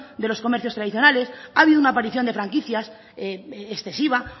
de los comercios tradicionales ha habido una aparición de franquicias excesiva